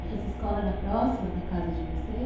E essa escola era próxima da casa de vocês?